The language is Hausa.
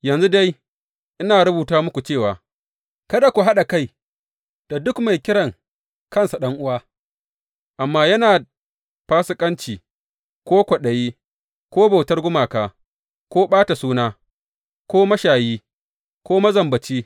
Yanzu dai ina rubuta muku cewa kada ku haɗa kai da duk mai kiran kansa ɗan’uwa, amma yana fasikanci, ko kwaɗayi, ko bautar gumaka, ko ɓata suna, ko mashayi, ko mazambaci.